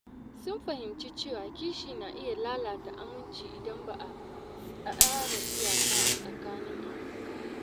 Sun fahimci cewa kishi na iya lalata aminci idan ba a tsara iyaka a tsakanin abokai ba.